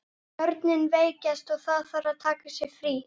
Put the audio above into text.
Hefurðu heyrt einhverjar sögur um huldufólk þar?